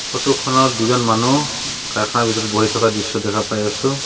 Photo খনত দুজন মানুহ কাৰখানাৰ ভিতৰত বহি থকা দৃশ্য দেখা পাই আছোঁ।